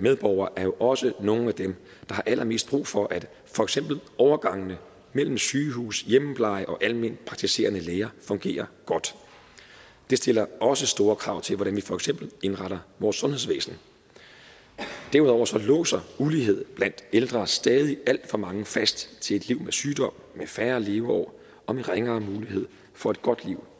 medborgere er jo også nogle af dem der har allermest brug for at for eksempel overgangene mellem sygehus hjemmepleje og alment praktiserende læger fungerer godt det stiller også store krav til hvordan vi for eksempel indretter vores sundhedsvæsen derudover låser ulighed blandt ældre stadig alt for mange fast til et liv med sygdom med færre leveår og med ringere mulighed for et godt liv